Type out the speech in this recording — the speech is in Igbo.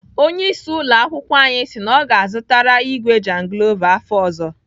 Onyeisi ụlọakwụkwọ anyị si na ọ ga-azụtara igwe jangilova afọ ọzọ.